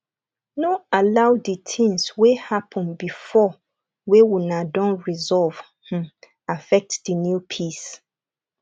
no allow di things wey happen before wey una don resolve um affect di new peace